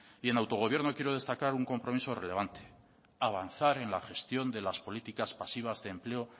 y en autogobierno quiero destacar un compromiso relevante avanzar en la gestión de las políticas pasivas de empleo